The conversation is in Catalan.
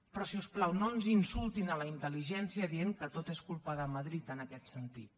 però si us plau no ens insultin la intel·ligència dient que tot és culpa de madrid en aquest sentit